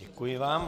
Děkuji vám.